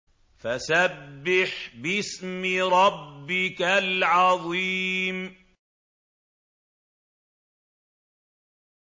فَسَبِّحْ بِاسْمِ رَبِّكَ الْعَظِيمِ